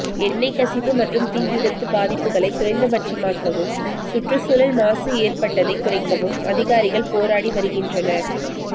எண்ணெய்க் கசிவு மற்றும் தீ விபத்து பாதிப்புகளை குறைந்தபட்சமாக்கவும் சுற்றுச்சூழல் மாசு ஏற்பட்டதைக் குறைக்கவும் அதிகாரிகள் போராடி வருகின்றனர்